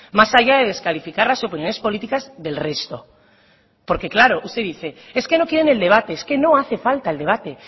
más allá de descalificar las opiniones políticas del resto porque claro usted dice es que no quieren el debate es que no hace falta el debate